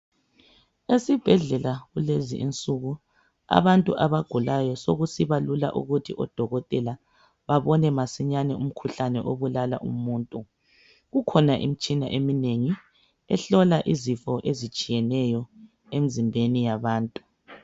Esibhedlela kulezi insuku abantu abagulayo sokusiba lula kubodokotela babone masinyane umkhuhlane obulala umuntu. Kukhona imitshina eminengi ehlola izifo ezitshiyeneyo emzimbeni yabantu.